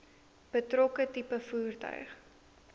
betrokke tipe voertuig